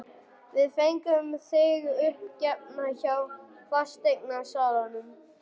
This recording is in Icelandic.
Við fengum þig uppgefna hjá fasteignasalanum.